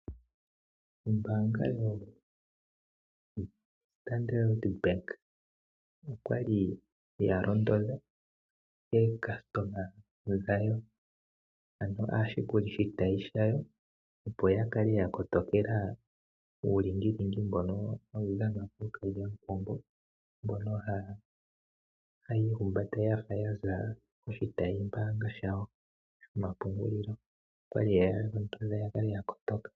Ombaanga yoStandard Bank okwali ya londodha ookasitoma dhawo ano aashikulishitayi shayo, opo ya kale ya kotokela uulingilingi mbono tawu dhanwa kwaambono hayi ihumbata yafa yaza koshitayimbaanga shawo shomapungulilo. Okwali yeya londotha ya kale ya kotoka.